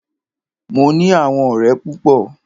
Mo ní àwọn ọ̀rẹ́ púpọ.